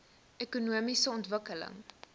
ekonomiese ontwikkeling